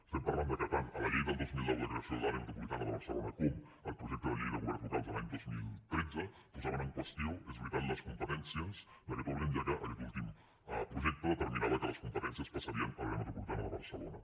estem parlant de que tant la llei del dos mil nou de creació de l’àrea metropolitana de barcelona com el projecte de llei de governs locals de l’any dos mil tretze posaven en qüestió és veritat les competències d’aquest òrgan ja que aquest últim projecte determinava que les competències passarien a l’àrea metropolitana de barcelona